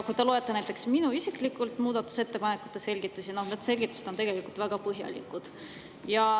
Kui te loete näiteks minu isiklike muudatusettepanekute selgitusi, siis need selgitused on tegelikult väga põhjalikud.